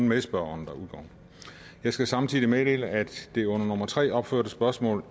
medspørgeren jeg skal samtidig meddele at det under nummer tre opførte spørgsmål